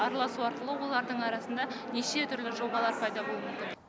араласу арқылы олардың арасында неше түрлі жобалар пайда болуы мүмкін